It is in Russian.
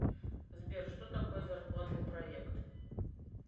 сбер что такое зарплатный проект